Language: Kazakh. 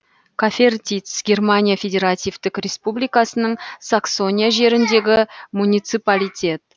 кафертиц германия федеративтік республикасының саксония жеріндегі муниципалитет